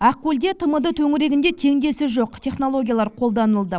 ақкөлде тмд төңірегінде теңдесі жоқ технологиялар қолданылды